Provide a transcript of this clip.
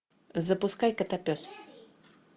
запускай котопес